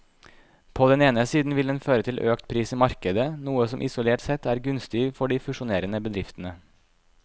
På den ene siden vil den føre til økt pris i markedet, noe som isolert sett er gunstig for de fusjonerende bedriftene.